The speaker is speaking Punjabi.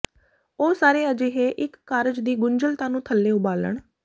ਉਹ ਸਾਰੇ ਅਜਿਹੇ ਇੱਕ ਕਾਰਜ ਦੀ ਗੁੰਝਲਤਾ ਨੂੰ ਥੱਲੇ ਉਬਾਲਣ